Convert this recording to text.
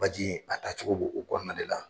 Baji a taa cogo bo o kɔnɔna de la.